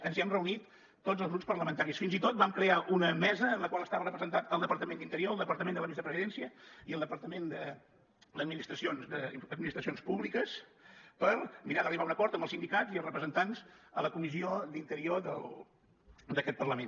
ens hi hem reunit tots els grups parlamentaris fins i tot vam crear una mesa en la qual estava representat el departament d’interior el departament de la vicepresidència i el departament d’administra cions públiques per mirar d’arribar a un acord amb els sindicats i els representants a la comissió d’interior d’aquest parlament